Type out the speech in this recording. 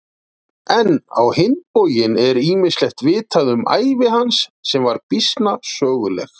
En á hinn bóginn er ýmislegt vitað um ævi hans sem var býsna söguleg.